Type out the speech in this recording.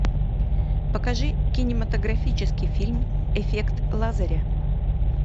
покажи кинематографический фильм эффект лазаря